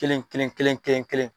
Kelen kelen kelen kelen.